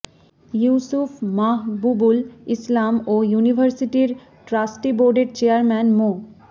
ইউসুফ মাহবুবুল ইসলাম ও ইউনিভার্সিটির ট্রাস্টি বোর্ডের চেয়ারম্যান মো